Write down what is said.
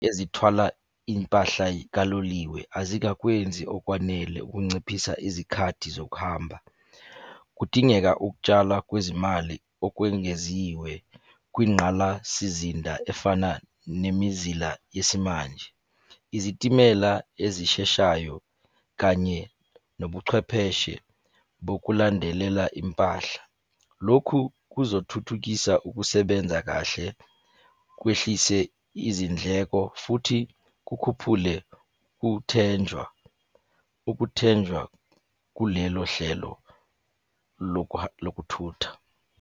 Ezithwala impahla kaloliwe azikakwenzi okwanele ukunciphisa izikhathi zokuhamba. Kudingeka ukutshala kwezimali okwengeziwe kwingqalasizinda efana nemizila yesimanje. Izitimela ezisheshayo kanye nobuchwepheshe bokulandelela impahla. Lokhu kuzothuthukisa ukusebenza kahle, kwehlise izindleko, futhi kukhuphule ukuthenjwa, ukuthenjwa kulelo hlelo lokuthutha.